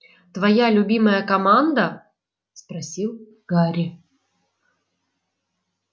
твоя любимая команда спросил гарри